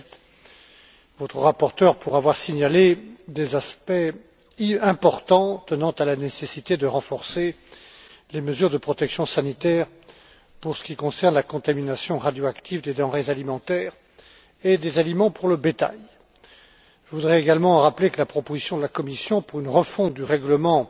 Belet, votre rapporteur, pour avoir signalé des aspects importants tenant à la nécessité de renforcer les mesures de protection sanitaire pour ce qui concerne la contamination radioactive des denrées alimentaires et des aliments pour le bétail. Je voudrais également rappeler que la proposition de la Commission pour une refonte du règlement